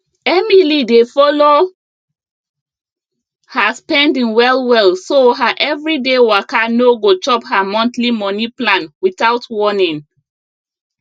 emily dey follow her spending well well so her everyday waka no go chop her monthly money plan without warning